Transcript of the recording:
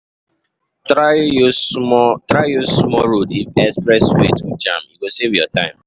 Try use small, try use small roads if express way too jam, e go save you time.